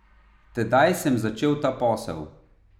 Tedaj sem začel ta posel.